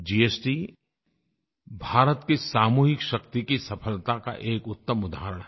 GST Bharat की सामूहिक शक्ति की सफलता का एक उत्तम उदाहरण है